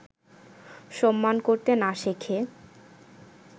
সম্মান করতে না শেখে